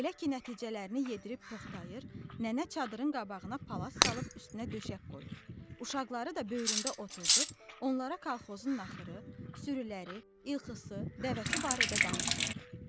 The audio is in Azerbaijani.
Elə ki, nəticələrini yedirib toxtayır, nənə çadırın qabağına palas salıb üstünə döşək qoyur, uşaqları da böyründə oturdub onlara kolxozun naxırı, sürüləri, ilxısı, dəvəsi barədə danışırdı.